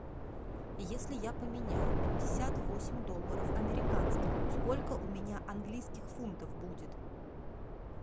если я поменяю пятьдесят восемь долларов американских сколько у меня английских фунтов будет